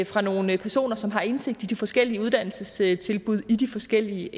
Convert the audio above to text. fra nogle personer som har indsigt i de forskellige uddannelsestilbud i de forskellige